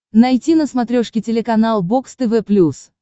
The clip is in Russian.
найти на смотрешке телеканал бокс тв плюс